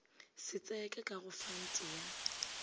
setseka ka go fante ya